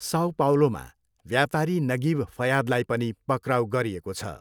Sao पाउलोमा व्यापारी Nagib फयादलाई पनि पक्राउ गरिएको छ।